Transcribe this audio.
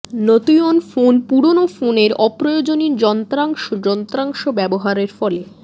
নতুয়ন ফোনে পুরনো ফোনের অপ্রয়োজনীয় যন্ত্রাংশ যন্ত্রাংশ ব্যবহারের ফলে